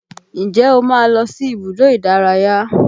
Ǹjẹ́ o máa ń lọ sí ibùdó ìdárayá?